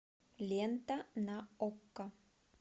лента на окко